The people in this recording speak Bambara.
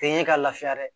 Tɛ ɲɛ ka lafiya dɛ